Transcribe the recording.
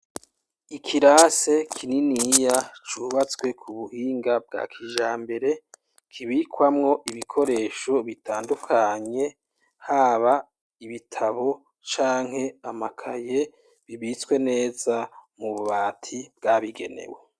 Ikirasi kininiya cubatswe k'ubuhinga bwa kijambere kibikwamwo ibikoresho bitandukanye haba ibitabo canke amakaye bibitswe neza mububati bwabigenewe.